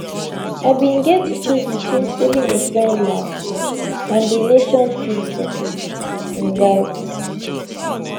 i bin get to choose between saving a friend life and di nation future im write